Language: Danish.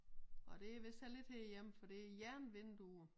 Og det vist heller ikke herhjemme for det jernvinduer